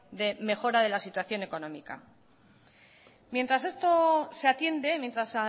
de mejora de la situación económica mientras esto se atiende mientras